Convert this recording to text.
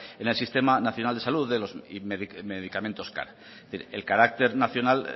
en el sistema nacional de salud y medicamentos car es decir el carácter nacional